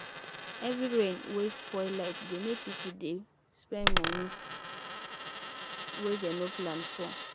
heavy rain wey spoil light dey make people dey spend money wey dem no plan for.